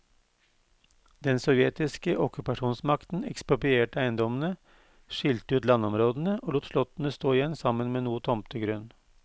Den sovjetiske okkupasjonsmakten eksproprierte eiendommene, skilte ut landområdene og lot slottene stå igjen sammen med noe tomtegrunn.